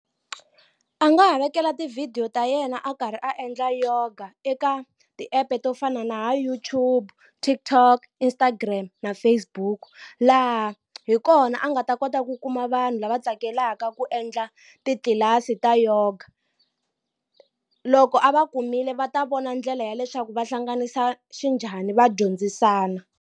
A nga ha vekela tivhidiyo ta yena a karhi a endla yoga eka ti-app to fana na ha YouTube TikTok Instagram na Facebook laha hi kona a nga nga ta kota ku kuma vanhu lava tsakelaka ku endla titlilasi ta yoga loko a va kumile va ta vona ndlela ya leswaku va hlanganisa xinjhani va dyondzisana.